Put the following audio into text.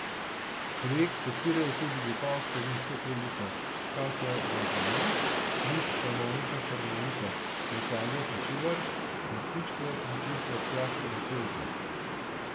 Projekt podpirajo tudi vipavska vinska kraljica Katja Blagonja, mis panonika harmonika Natalija Hočevar in cvičkova princesa Tjaša Metelko.